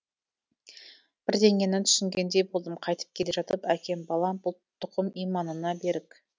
бірдеңені түсінгендей болдым қайтып келе жатып әкем балам бұл тұқым иманына берік